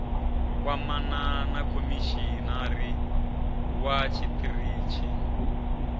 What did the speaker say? kwamana na khomishinari wa tshiṱitshi